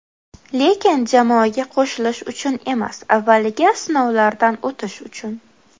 Lekin jamoaga qo‘shilish uchun emas, avvaliga sinovlardan o‘tish uchun.